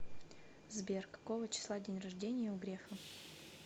сбер какого числа день рождения у грефа